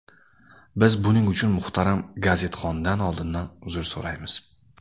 Biz buning uchun muhtaram gazetxondan oldindan uzr so‘raymiz.